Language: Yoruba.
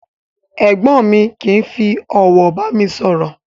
Ègbón mi kìí fi òwò bàmi sòrò